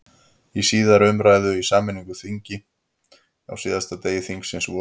Í síðari umræðu í sameinu þingi, á næstsíðasta degi þingsins, vorið